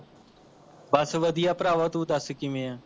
ਬਸ ਵਧੀਆ ਭਰਾਵਾਂ ਤੂੰ ਦਸ ਕਿਵੇਂ ਹੈ